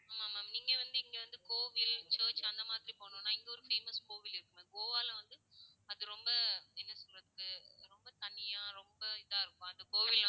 ஆமா ma'am நீங்க வந்து இங்க வந்து கோவில் church அந்த மாதிரி போணும்னா இங்க ஒரு famous கோவில் இருக்கு ma'am கோவால வந்து அது ரொம்ப என்ன சொல்றது? ரொம்ப தனியா, ரொம்ப இதா இருக்கும் அந்த கோவில்.